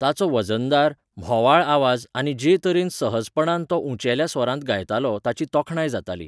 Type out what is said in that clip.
ताचो वजनदार, म्होवाळ आवाज आनी जे तरेन सहजपणान तो उंचेल्या स्वरांत गायतालो ताची तोखणाय जाताली.